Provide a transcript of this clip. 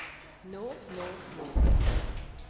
nå nå nå